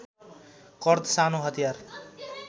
कर्द सानो हतियार